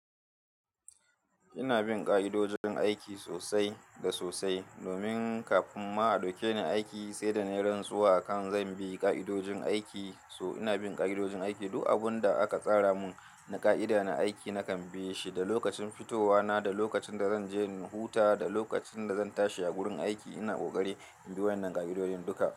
Ina bin ƙa'idojin aiki sosai da sosai domin kafin ma a ɗauke ni aiki sai da na yi rantsuwa akan zan bi ƙa'idojin aiki. So ina bin ƙa'idojin aiki, duk abin da aka tsara mun na ƙa'ida na aiki na kam ie shi, da lokacin fitowa na, da lokacin da zan je in huta, da lokacin da zan tashi a gurin aiki. Ina ƙoƙari in bi waɗannan ƙa'idodin duka.